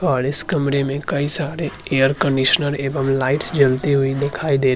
और इस कमरे में कई सारे एयर कंडीशनर एवं लाइटस जलती हुई दिखाईं दे --